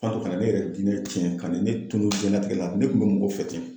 kana ne yɛrɛ diinɛ tiɲɛ , ka na ne tunnun jiyɛn latigɛ la, ne tun bɛ mɔgɔ fɛ ten.